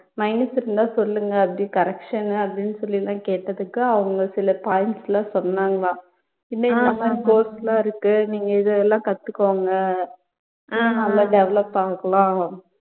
minus இருந்தா சொல்லுங்க அப்படி correction அப்படி சொல்லியெல்லாம் கேட்டதுக்கு அவங்க சில points லாம் சொன்னாங்களாம் இப்படியெல்லாம் இந்த மாதிரி course லாம் இருக்கு நீங்க இதெல்லாம் கத்துக்கோங்க நல்லா develop ஆகிக்கலாம்